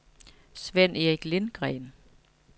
Svend-Erik Lindgren